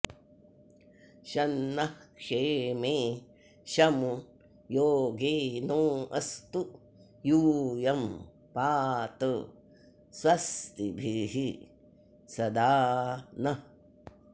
शं नः॒ क्षेमे॒ शमु॒ योगे॑ नो अस्तु यू॒यं पा॑त स्व॒स्तिभिः॒ सदा॑ नः